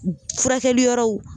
Furakɛliyɔrɔw